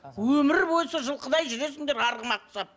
өмір бойы сол жылқыдай жүресіңдер арғымақ құсап